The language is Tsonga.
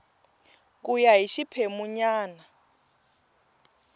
ku ya hi xiphemu nyana